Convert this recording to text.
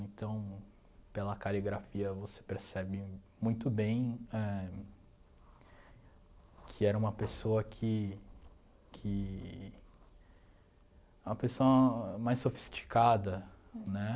Então, pela caligrafia você percebe muito bem éh que era uma pessoa que que... uma pessoa mais sofisticada, né?